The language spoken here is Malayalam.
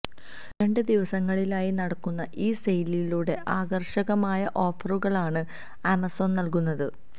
രണ്ട് ദിവസങ്ങളിലായി നടക്കുന്ന ഈ സെയിലിലൂടെ ആകർഷകമായ ഓഫറുകളാണ് ആമസോൺ നൽകുന്നത്